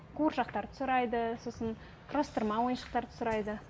қуыршақтарды сұрайды сосын құрастырма ойыншықтарды сұрайды